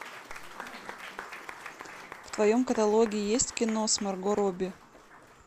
в твоем каталоге есть кино с марго робби